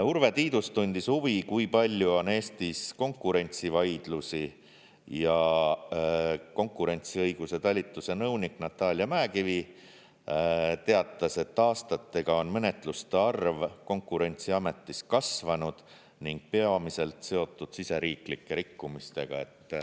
Urve Tiidus tundis huvi, kui palju on Eestis konkurentsivaidlusi ja konkurentsiõiguse talituse nõunik Natalia Mäekivi teatas, et aastatega on menetluste arv Konkurentsiametis kasvanud ning peamiselt seotud siseriiklike rikkumistega.